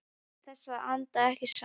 Til þess að anda ekki saman.